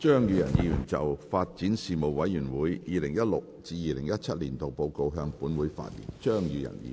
張宇人議員就"發展事務委員會 2016-2017 年度報告"向本會發言。